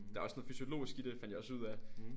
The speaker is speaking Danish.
Det er også noget fysiologisk i det fandt jeg også ud af